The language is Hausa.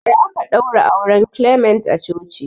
Bara aka ɗaura auren clement a coci